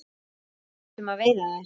Við ætlum að veiða þær